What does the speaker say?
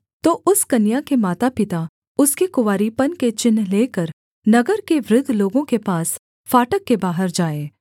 तो उस कन्या के मातापिता उसके कुँवारीपन के चिन्ह लेकर नगर के वृद्ध लोगों के पास फाटक के बाहर जाएँ